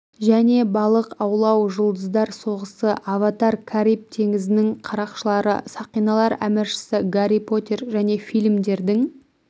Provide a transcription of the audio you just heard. және балық аулау жұлдыздар соғысы аватар кариб теңізінің қарақшылары сақиналар әміршісі гарри поттер және фильмдердің